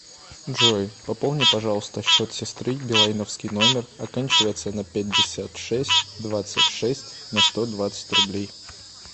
джой пополни пожалуйста счет сестры билайновский номер оканчивается на пятьдесят шесть двадцать шесть на сто двадцать рублей